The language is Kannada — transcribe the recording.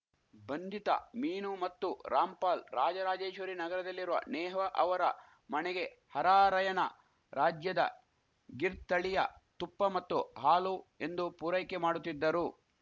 ಬಂಧಿತ ಮೀನು ಮತ್ತು ರಾಮ್‌ಪಾಲ್‌ ರಾಜರಾಜೇಶ್ವರಿ ನಗರದಲ್ಲಿರುವ ನೇಹ್ವಾ ಅವರ ಮಣೆಗೆ ಹರಾರಯಣ ರಾಜ್ಯದ ಗಿರ್‌ ತಳಿಯ ತುಪ್ಪ ಮತ್ತು ಹಾಲು ಎಂದು ಪೂರೈಕೆ ಮಾಡುತ್ತಿದ್ದರು